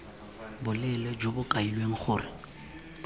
boleele jo bo kailweng gore